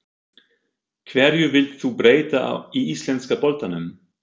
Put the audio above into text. Hverju vilt þú breyta í íslenska boltanum?